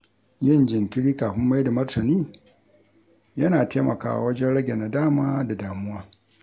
Yin jinkiri kafin maida martani yana taimakawa wajen rage nadama da damuwa.